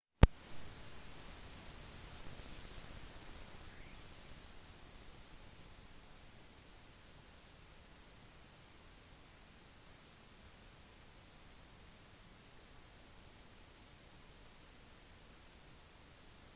den tropiske stormen danielle er den fjerde navngitte stormen av orkansesongen i atlanterhavet 2010 og oppsto i det østlige atlanterhavet